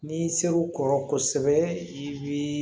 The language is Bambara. N'i ser'u kɔrɔ kosɛbɛ i bi